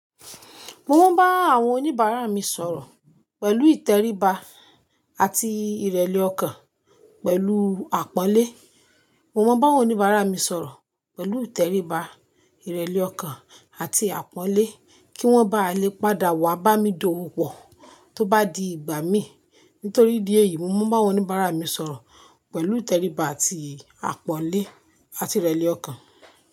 Mo mọ n bá àwọn oníbàárà mi sọ̀rọ̀ pẹ̀lú ìtẹríba àti ìrẹ̀lẹ̀ ọkàn, pẹ̀lú àpọ́nlé. Mo mọ n bá àwọn oníbàárà mi sọ̀rọ̀ pẹ̀lú ìtẹríba, ìrẹ̀lẹ̀ ọkàn àti àpọ́nlé kí wọ́n ba lè padà wá bá mi dowó pọ̀ tó bá di ìgbà mí. Nítorí idí èyí, mo mọ n bá àwọn oníbàárà mi sọ̀rọ̀ pẹ̀lú ìtẹríba àti àpọ́nlé àti ìrẹ̀lẹ̀ ọkàn.